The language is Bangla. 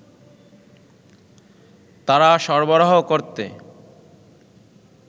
তারা সরবরাহ করতে